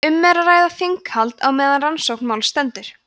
ef um er að ræða þinghald á meðan rannsókn máls stendur